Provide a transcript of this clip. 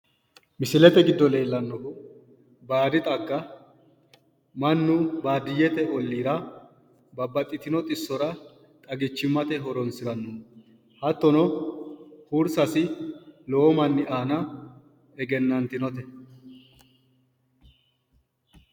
misilete giddo leellannohu baadi xagga mannu baadiyyete olliira babbaxitino xissora xagichimmate horonsiranno hattono hursassi lowo manni aana egennantinote,